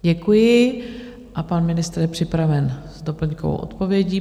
Děkuji a pan ministr je připraven s doplňkovou odpovědí.